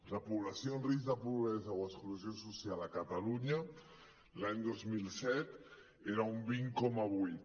la població en risc de pobresa o exclusió social a catalunya l’any dos mil set era un vint coma vuit